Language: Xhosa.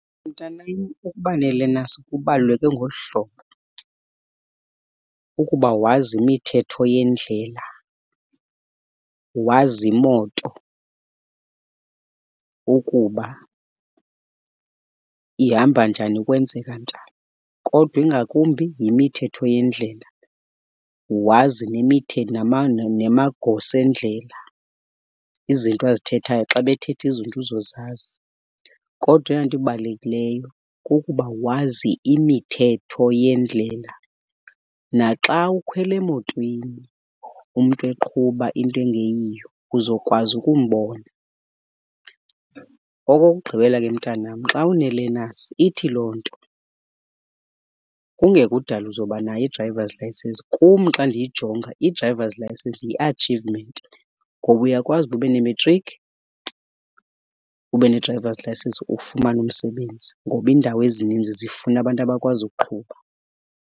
Mntanam, ukuba ne-learners kubaluleke ngolu hlobo, ukuba wazi imithetho yendlela, wazi imoto ukuba ihamba njani kwenzeka njani. Kodwa ingakumbi yimithetho yendlela, wazi nemithetho namagosa endlela, izinto azithethayo xa bethetha izinto uzozazi. Kodwa eyona nto ibalulekileyo kukuba wazi imithetho yendlela. Naxa ukhwela emotweni umntu eqhuba into engeyiyo uzokwazi ukumbona. Okokugqibela, ke mntanam, xa une-learners ithi loo nto kungekudala uzobanayo i-drivers license. Kum xa ndiyijonga i-drivers license yi-achievement ngoba uyakwazi uba ube nemetrikhi, ube ne-drivers license ufumane umsebenzi ngoba indawo ezininzi zifuna abantu abakwazi ukuqhuba.